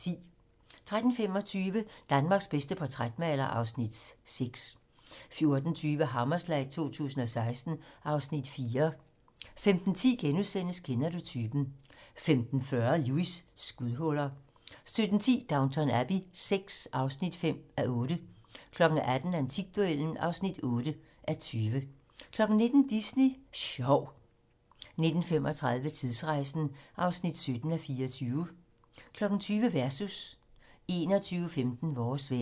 13:25: Danmarks bedste portrætmaler (Afs. 6) 14:20: Hammerslag 2016 (Afs. 4) 15:10: Kender du typen? * 15:40: Lewis: Skudhuller 17:10: Downton Abbey VI (5:8) 18:00: Antikduellen (8:20) 19:00: Disney Sjov 19:35: Tidsrejsen (17:24) 20:00: Versus 21:15: Vores vejr